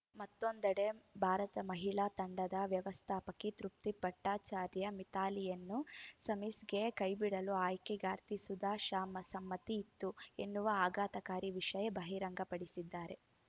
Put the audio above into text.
ಮತ್ತೊಂದೆಡೆ ಭಾರತ ಮಹಿಳಾ ತಂಡದ ವ್ಯವಸ್ಥಾಪಕಿ ತೃಪ್ತಿ ಭಟ್ಟಾಚಾರ್ಯ ಮಿಥಾಲಿಯನ್ನು ಸೆಮೀಸ್‌ಗೆ ಕೈಬಿಡಲು ಆಯ್ಕೆಗಾರ್ತಿ ಸುಧಾ ಶಾ ಸಮ್ಮತಿ ಇತ್ತು ಎನ್ನುವ ಆಘಾತಕಾರಿ ವಿಷಯ ಬಹಿರಂಗಪಡಿಸಿದ್ದಾರೆ